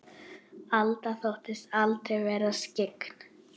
Alda þóttist aldrei vera skyggn.